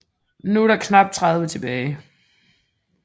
Nu er der knap 30 tilbage